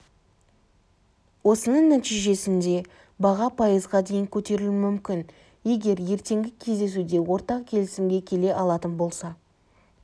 осының нәтижесінде баға пайызға дейін көтерілуі мүмкін егер ертеңгі кездесуде ортақ келісімге келе алатын болса